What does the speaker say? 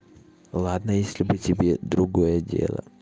ладно если бы тебе другое дело